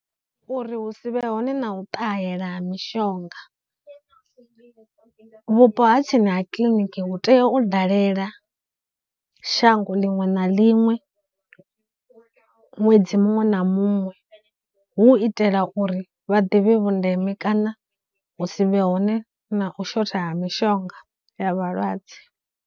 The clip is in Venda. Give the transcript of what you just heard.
Uri hu si vhe hone na u ṱahela ha mishonga, vhupo ha ha kiḽiniki hu tea u dalela shango liṅwe na liṅwe ṅwedzi muṅwe na muṅwe hu u itela uri vha ḓivhe vhundeme kana hu si vhe hone na u shotha ha mishonga ya vhalwadze.